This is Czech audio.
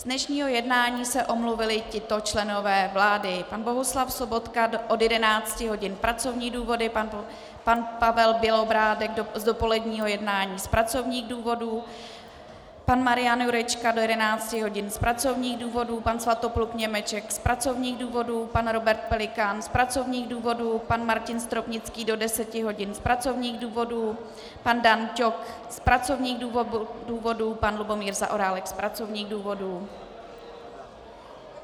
Z dnešního jednání se omluvili tito členové vlády: pan Bohuslav Sobotka od 11 hodin - pracovní důvody, pan Pavel Bělobrádek z dopoledního jednání z pracovních důvodů, pan Marian Jurečka do 11 hodin z pracovních důvodů, pan Svatopluk Němeček z pracovních důvodů, pan Robert Pelikán z pracovních důvodů, pan Martin Stropnický do 10 hodin z pracovních důvodů, pan Dan Ťok z pracovních důvodů, pan Lubomír Zaorálek z pracovních důvodů.